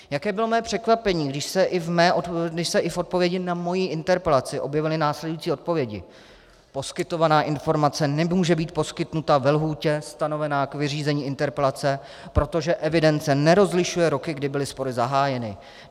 Jaké bylo mé překvapení, když se i v odpovědi na moji interpelaci objevily následující odpovědi: Poskytovaná informace nemůže být poskytnuta ve lhůtě stanovené k vyřízení interpelace, protože evidence nerozlišuje roky, kdy byly spory zahájeny.